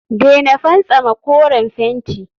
daina fantsama koren fenti